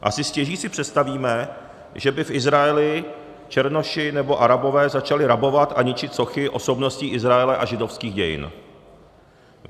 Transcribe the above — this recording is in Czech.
Asi stěží si představíme, že by v Izraeli černoši nebo Arabové začali rabovat a ničit sochy osobností Izraele a židovských dějin.